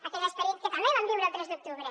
aquell esperit que també vam viure el tres d’octubre